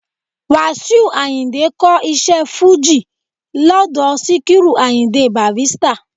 Wàsíù Àyìndé ka iṣẹ́ fújì led Síkírù Àyìndé Bàrístà